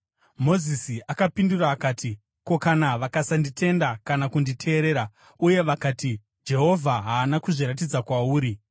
Mozisi akapindura akati, “Ko, kana vakasanditenda kana kunditeerera uye vakati, ‘Jehovha haana kuzviratidza kwauri’?”